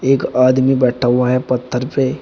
एक आदमी बैठा हुआ है पत्थर पे।